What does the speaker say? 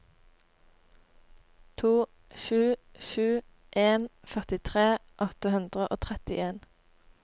to sju sju en førtitre åtte hundre og trettien